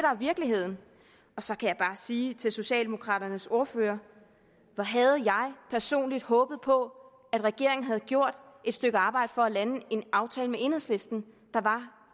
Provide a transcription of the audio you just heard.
virkeligheden så kan jeg bare sige til socialdemokraternes ordfører hvor havde jeg personligt håbet på at regeringen havde gjort et stykke arbejde for at lande en aftale med enhedslisten der var